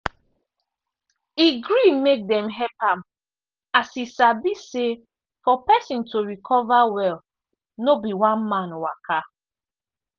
e gree make dem help am as e sabi say for pesin to recover well no be one man waka.